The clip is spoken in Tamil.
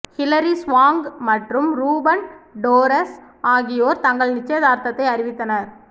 ஹிலாரி ஸ்வாங்க் மற்றும் ரூபன் டோரஸ் ஆகியோர் தங்கள் நிச்சயதார்த்தத்தை அறிவித்தனர்